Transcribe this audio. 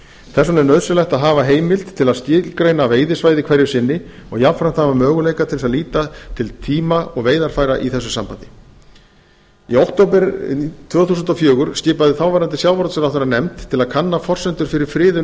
þess vegna er nauðsynlegt að hafa heimild til að skilgreina veiðisvæði hverju sinni og jafnframt hafa möguleika til þess að líta til tíma og veiðarfæra í þessu sambandi í október tvö þúsund og fjögur skipaði þáv sjávarútvegsráðherra nefnd til að kanna forsendur fyrir friðun